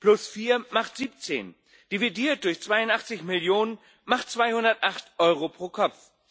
Plus vier macht 17, dividiert durch 82 Millionen macht 208 Euro pro Kopf.